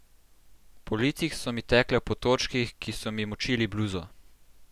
Po licih so mi tekle v potočkih, ki so mi močili bluzo.